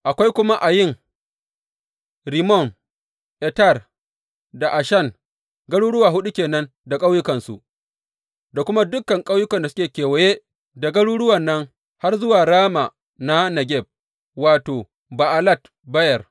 Akwai kuma Ayin, Rimmon, Eter da Ashan, garuruwa huɗu ke nan da ƙauyukansu, da kuma dukan ƙauyukan da suke kewaye da garuruwan nan har zuwa Rama na Negeb wato, Ba’alat Beyer.